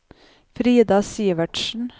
Frida Sivertsen